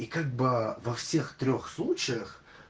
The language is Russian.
и как бы во всех трёх случаях